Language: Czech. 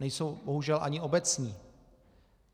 Nejsou bohužel ani obecní.